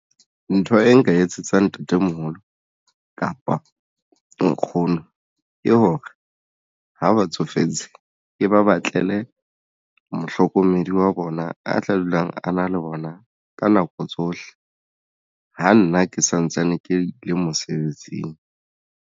Ntho e nka etsetsa ntatemoholo kapa nkgono ke hore ha ba tsofetse ke ba batlele mohlokomedi wa rona a tla dulang a na le bona ka nako tsohle ho nna ke santsane ke le mosebetsing.